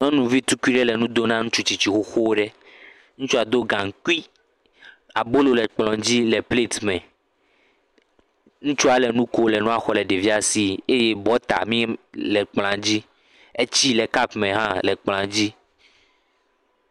Nyɔnuvi tukui le nu do na nutsu tsitsi xoxo ɖe. Ŋtsua do gankui. Abolo le kplɔ dzi le plati me. Ŋtsua le nu kom le nua xɔ le ɖevia si eye bɔta mi le kplɔa dzi. Etsi le kapu me hã le kplɔa dzi.